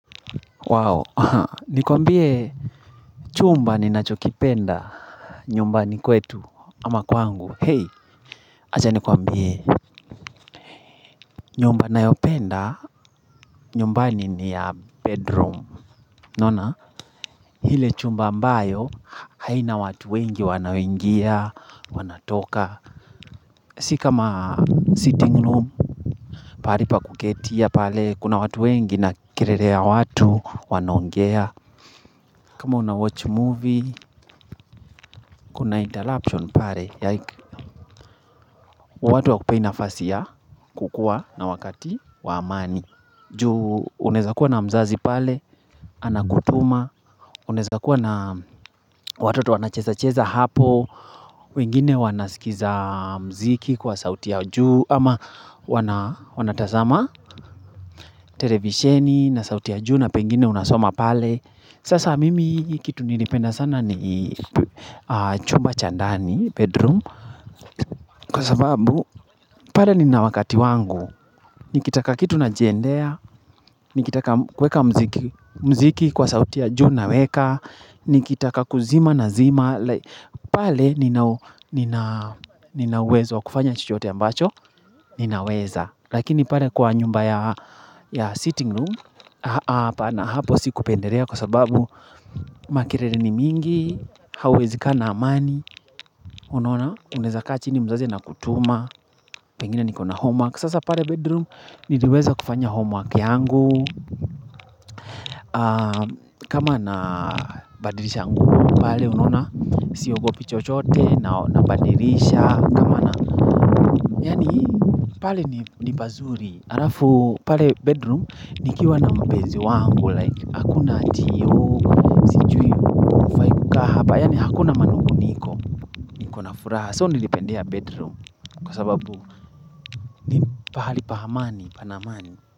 Wow, nikuambie chumba ninachokipenda nyumbani kwetu ama kwangu. Hey, aja nikuambie nyumba nayopenda nyumbani ni ya bedroom. Nona, hile chumba ambayo haina watu wengi wanaowingia, wanatoka. Si kama sitting room. Paripa kuketia pale, kuna watu wengi na kerere ya watu wanaongea. Kama una watch movie, kuna interruption pare. Yike. Watu hawakupei nafasi ya kukuwa na wakati wa amani Ju unaeza kuwa na mzazi pale, anakutuma Unaeza kuwa na watoto wanacheza-cheza hapo wengine wanasikiza muziki kwa sauti ya juu ama wanatazama televisheni na sauti ya juu na pengine unasoma pale Sasa mimi kitu nilipenda sana ni chumba cha ndani bedroom Kwa sababu, pale ninawakati wangu, nikitaka kitu najiendea, nikitaka kuweka muziki kwa sauti ya juu naweka, nikitaka kuzima na zima, pale ninauwezo wa kufanya chochote ambacho, ninaweza. Lakini pale kwa nyumba ya sitting room apana hapo si kupenderea kwa sababu Makerele ni mingi Hauwezi kaa na amani Unaona unaeza kaa chini mzazi anakutuma Pengine niko na homework Sasa pale bedroom niliweza kufanya homework yangu kama na badilisha nguo pale unaona siogopi chochote na badilisha kama na yaani pale ni pazuri Alafu pale bedroom nikiwa na mpenzi wangu Like hakuna ati oo Kahapa yaani hakuna manung'uniko Kuna furaha So nilipendea bedroom Kwa sababu ni pahali pa amani Panaamani.